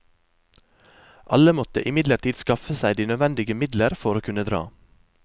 Alle måtte imidlertid skaffe seg de nødvendige midler for å kunne dra.